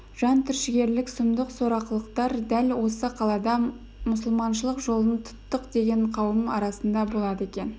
жан түршігерлік сұмдық сорақылықтар дәл осы қалада мұсылманшылық жолын тұттық деген қауым арасында болады екен